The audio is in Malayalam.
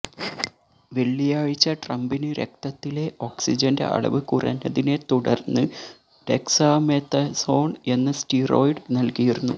വെള്ളിയാഴ്ച ട്രംപിന് രക്തത്തിലെ ഓക്സിജന്റെ അളവ് കുറഞ്ഞതിനെ തുടര്ന്ന് ഡെക്സാമെഥസോണ് എന്ന സ്റ്റിറോയ്ഡ് നല്കിയിരുന്നു